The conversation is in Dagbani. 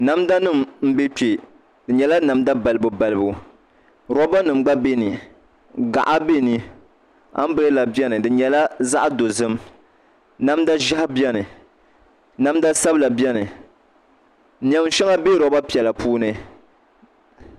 Namda nim n bɛ kpɛ di nyɛla namda balibu balibu rooba nim gba bieni gaɣi biɛni anbirella biɛni di nyɛla za'dozim namda ʒiɛhi bieni namda sabila biɛni neenshɛŋa bɛ rooba piɛla puuni